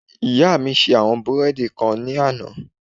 Ìyá mi ṣe àwọn búrẹ́ẹ́dì kan ní àná